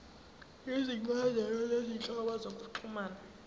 izincazelo zezinhlobo zokuxhumana